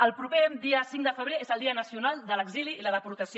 el proper dia cinc de febrer és el dia nacional de l’exili i la deportació